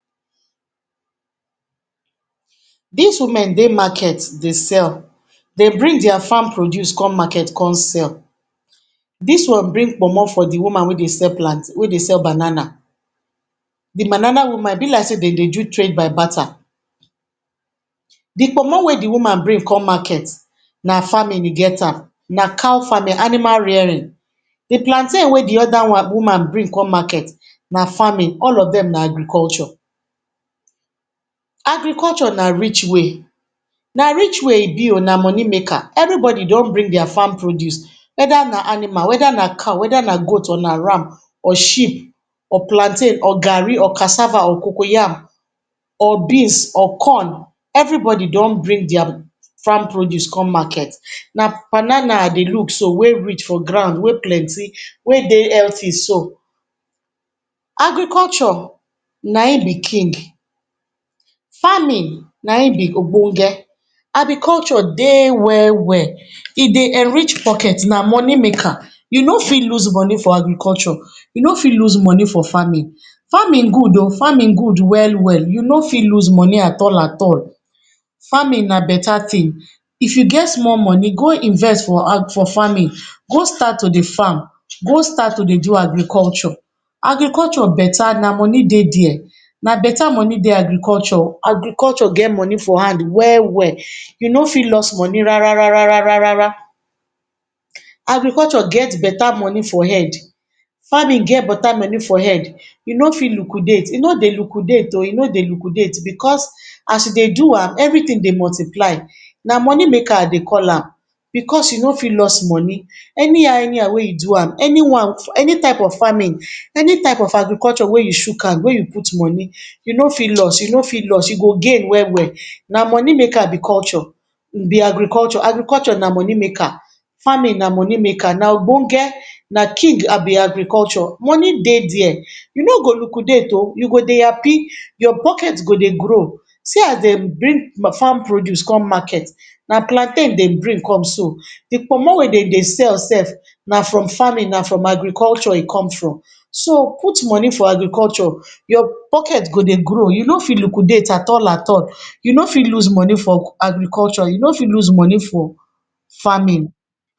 Dis women Dey market Dey sell Dey bring dia farm produce come market come sell dis woman bring plantain for de woman wey Dey sell banana de banana woman e be like sey dem Dey do trade by batta de Komi wey de woman bring come market na family get am na cow farming animal rearing de plantain wey de oda woman bring come market na farming all of dem na agriculture Agriculture na rich way na rich way e be oo na money maker everybody don bring dia farm produce weather na animal weather na cow weather na goat or na ram or sheep or plantain or garri or cassava or cocoyam or beans or corn everybody don bring dia farm produce come market na banana I Dey look so wey rich for ground wey plenty wey Dey healthy so agriculture na im be king farming na im be obonge Agriculture Dey well well e Dey enrich pocket na money maker you no fit loose money for agriculture you no fit lose money for farming farming good oo farming good well well you no fit loose money at all at all farming na betta tin if you get small money go invest for farming go start to Dey farm go start to Dey do agriculture Agriculture betta na money Dey dia na betta money Dey go agriculture get money for hand well well you no fit lost money rara rara rara agriculture get betta money for head farming get betta money for head you no fit liquidate e no Dey liquidate oo e no Dey liquidate as you Dey do am everything Dey multiply na money maker i Dey call am because you no fit lost money any how any how wey you do am any type of farming any type of agriculture wey you choke hand wey you put money you no fit lost you no fit lost you go gain well well na money maker be agriculture agriculture na money maker farming na money maker obonge na king agriculture Monday Dey dia you no go liquidate ooo you go Dey happy your pocket go Dey grow see as Dey bring farm produce some market na plantain Dey bring come so de Kpomo wey dem Dey sell so na from farming na from agriculture e come from so put money for agriculture your pocket go Dey grow you no fit liquidate at all at all you no fit loose money for agriculture you no fit loose money for farming.